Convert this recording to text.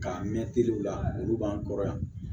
K'a mɛ teriw la olu b'an kɔrɔ yan